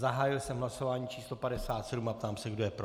Zahájil jsem hlasování číslo 57 a ptám se, kdo je pro.